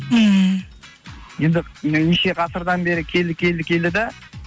мхм енді неше ғасырдан бері келді келді келді де